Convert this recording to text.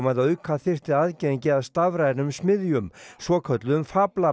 að auka þyrfti aðgengi að stafrænum smiðjum svokölluðum